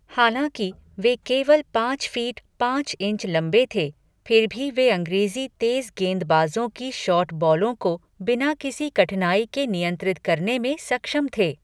हालाँकि वे केवल पाँच फीट पाँच इंच लंबे थे, फिर भी वे अंग्रेज़ी तेज़ गेंदबाज़ों की शॉर्ट बॉलों को बिना किसी कठिनाई के नियंत्रित करने में सक्षम थे।